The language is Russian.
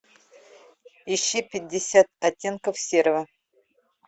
ищи пятьдесят оттенков серого